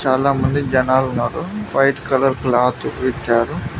చాలా మంది జనాలు ఉన్నారు వైట్ కలర్ క్లాత్ ఇచ్చారు.